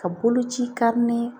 Ka boloci